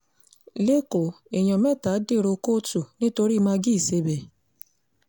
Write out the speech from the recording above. lẹ́kọ̀ọ́ èèyàn mẹ́ta dèrò kóòtù nítorí mãgí ìsẹ̀bẹ̀